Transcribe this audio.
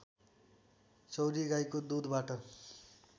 चौँरीगाईको दुधबाट